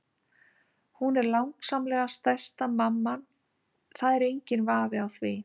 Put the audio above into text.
Hún er langsamlega sætasta mamman, það er enginn vafi á því.